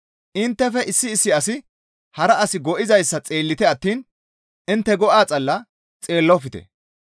Inttefe issi issi asi hara as go7izayssa xeellite attiin intte go7a xalla xeellofte.